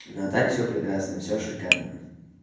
ну а так всё прекрасно всё шикарно